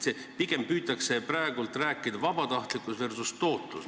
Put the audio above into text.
Pigem püütake praegu vastandada vabatahtlikkus versus tootlus.